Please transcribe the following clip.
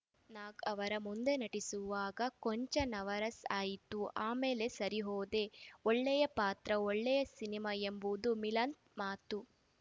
ನಾಗ್‌ ಅವರ ಮುಂದೆ ನಟಿಸುವಾಗ ಕೊಂಚ ನವರಸ್‌ ಆಯಿತು ಆ ಮೇಲೆ ಸರಿ ಹೋದೆ ಒಳ್ಳೆಯ ಪಾತ್ರ ಒಳ್ಳೆಯ ಸಿನಿಮಾ ಎಂಬುದು ಮಿಲಂದ್‌ ಮಾತು